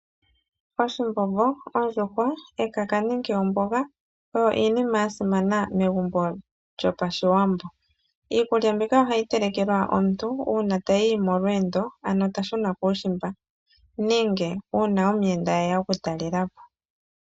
Oshimbombo, ondjuhwa, ekaka nenge omboga ,oyo iinima ya simana megumbo lyo pashiwambo. Iikulya mbika ohayi telekelwa omuntu uuna tayi molweendo, ano ta shuna kuushimba nenge uuna omuyenda eya oku talela po.